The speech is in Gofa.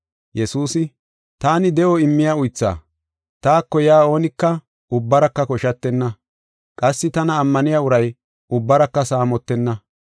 Yesuusi, “Taani de7o immiya uythaa; taako yaa oonika ubbaraka koshatenna. Qassi tana ammaniya uray ubbaraka saamotenna.